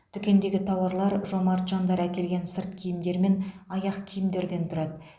дүкендегі тауарлар жомарт жандар әкелген сырт киімдер мен аяқ киімдерден тұрады